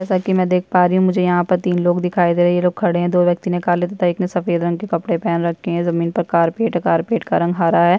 जैसा की मे देख पा रही हूँ मुझे यहाँ तीन लोग दिखाई दे रहे है ये लोग खड़े है दो व्यक्ति ने काले तथा एक ने सफ़ेद रंग के कपड़े पेहन रखे है जमीन पर कारपेट है कारपेट का रंग हरा है।